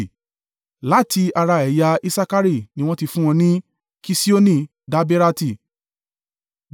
Láti ara ẹ̀yà Isakari ni wọ́n ti fún wọn ní, Kiṣioni Daberati,